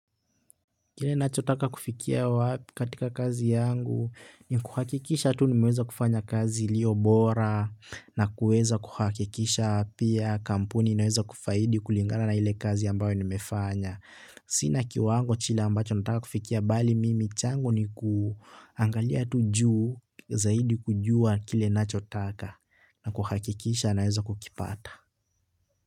Kile nachotaka kufikia katika kazi yangu ni kuhakikisha tu nimeweza kufanya kazi iliyo bora na kueza kuhakikisha pia kampuni imeweza kufaidi kulingana na ile kazi ambayo nimefanya. Sina kiwango kile ambacho nataka kufikia bali mimi changu ni kuangalia tu juu, zaidi kujua kile ninachotaka na kuhakikisha naweza kukipata.